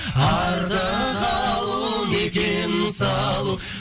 артық алу не кем салу